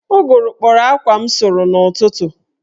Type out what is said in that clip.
Ụgụrụ kpọrọ akwa m sụrụ n'ụtụtụ